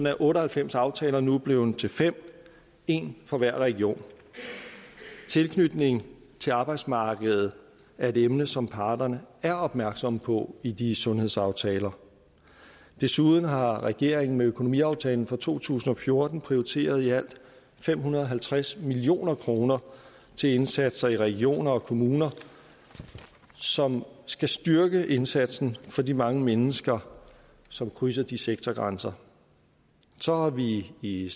at otte og halvfems aftaler nu er blevet til fem en for hver region tilknytning til arbejdsmarkedet er et emne som parterne er opmærksomme på i de sundhedsaftaler desuden har regeringen med økonomiaftalen for to tusind og fjorten prioriteret i alt fem hundrede og halvtreds million kroner til indsatser i regioner og kommuner som skal styrke indsatsen for de mange mennesker som krydser de sektorgrænser så har vi i i